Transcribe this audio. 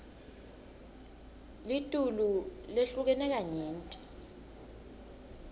litulu lehlukene kanyenti